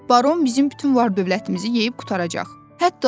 Baron bizim bütün var dövlətimizi yeyib qurtaracaq.